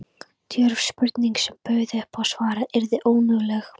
Djörf spurning, sem bauð upp á að svarað yrði önuglega.